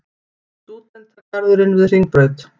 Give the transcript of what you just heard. Stúdentagarðurinn við Hringbraut.